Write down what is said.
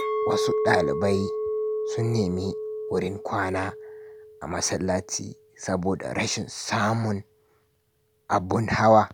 Wasu dalibai sun nemi wurin kwana a masallaci saboda rashin samun abun hawa.